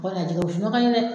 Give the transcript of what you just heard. O kɔni, a jɛgɛwusu nɔ ka ɲi dɛ.